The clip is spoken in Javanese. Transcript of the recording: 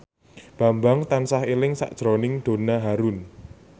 Bambang tansah eling sakjroning Donna Harun